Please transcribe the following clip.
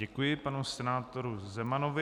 Děkuji panu senátoru Zemanovi.